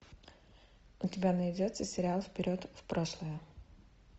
у тебя найдется сериал вперед в прошлое